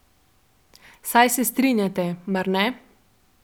Saj se strinjate, mar ne?